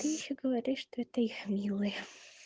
ты ещё говоришь что это их милая